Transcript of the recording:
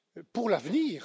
pour l'avenir.